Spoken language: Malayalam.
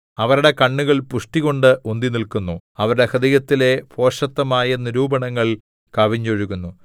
അവരുടെ കണ്ണുകൾ പുഷ്ടികൊണ്ട് ഉന്തിനില്ക്കുന്നു അവരുടെ ഹൃദയത്തിലെ ഭോഷത്തമായ നിരൂപണങ്ങൾ കവിഞ്ഞൊഴുകുന്നു